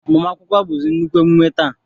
Agbamakwụkwọ bụzi nnukwu emume taa